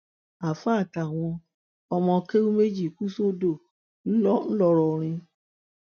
àáfàá àtàwọn ọmọ kéwu ẹ méjì kù sódò ńlọrọrin